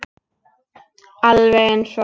Alveg eins og